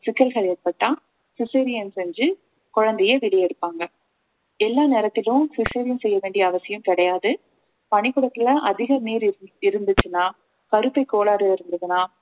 சிக்கல்கள் ஏற்பட்டால் cesarean செஞ்சு குழந்தையை வெளியே எடுப்பாங்க எல்லா நேரத்திலும் cesarean செய்ய வேண்டிய அவசியம் கிடையாது பனிக்கூடத்துல அதிக நீர் இருந்~ இருந்துச்சுன்னா கருப்பை கோளாறு இருந்ததுன்னா